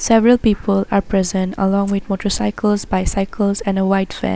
Several people are present along with motorcycles bicycles and a white van.